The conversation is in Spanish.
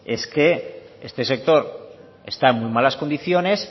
es que este sector está en muy malas condiciones